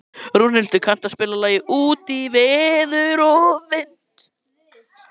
Rúnhildur, kanntu að spila lagið „Út í veður og vind“?